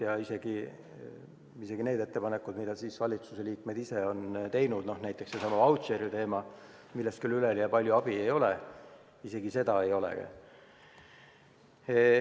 Ja isegi need ettepanekud, mida valitsusliikmed ise on teinud, näiteks seesama vautšeri teema, millest küll üleliia palju abi ei ole – isegi neid ei ole ju.